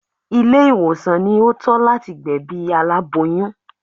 Ilé ìwòsàn ni ó tọ́ láti gbẹ̀bí aláboyún